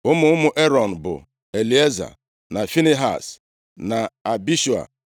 Ụmụ ụmụ Erọn bụ Elieza, na Finehaz, na Abishua,